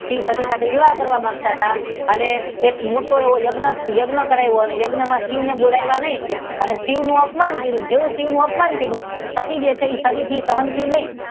શિવ સતી સાથે વિવાહ કરવા માંગતા હતા અને એક મોટો યજ્ઞ કરાવ્યો અને યજ્ઞ માં શિવ ને બોલાવ્યા નહી અને શિવ નું અપમાન કર્યું જેવુ શિવ નું અપમાન કર્યું સતી જે છે તે સતી થી સહન થયું નહી.